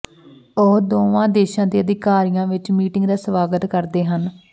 ਉਹ ਦੋਵਾਂ ਦੇਸ਼ਾਂ ਦੇ ਅਧਿਕਾਰੀਆਂ ਵਿੱਚ ਮੀਟਿੰਗ ਦਾ ਸਵਾਗਤ ਕਰਦੇ ਹਨ